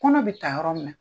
Kɔnɔ be ta yɔrɔ min na